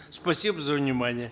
спасибо за внимание